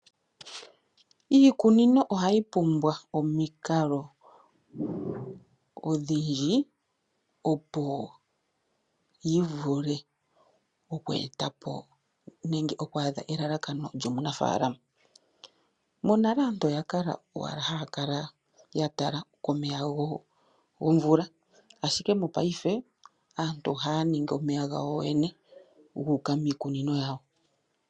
Iikunino ohayi pumbwa omikalo odhindji opo yivule oku etapo nenge okwaadha elalakano luomunafaalama. Monale aantu oya kala owala haya kala yatala komeya gomvula ashike mopaife aantu ohaya ningi omeya gawo yoyene guuka miikunino yawo.